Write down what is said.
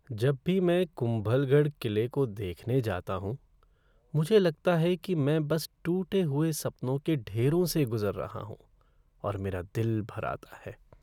जब भी मैं कुंभलगढ़ किले को देखने जाता हूँ, मुझे लगता है कि मैं बस टूटे हुए सपनों के ढेरों से गुज़र रहा हूँ और मेरा दिल भर आता है।